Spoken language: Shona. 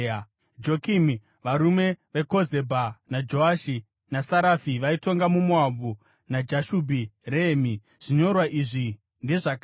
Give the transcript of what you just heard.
Jokimi, varume veKozebha naJoashi naSarafi vaitonga muMoabhu naJashubhi Rehemi. (Zvinyorwa izvi ndezvakare.)